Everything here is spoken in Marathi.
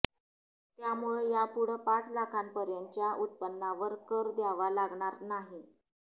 त्यामुळं यापुढं पाच लाखांपर्यंतच्या उत्पन्नावर कर द्यावा लागणार नाही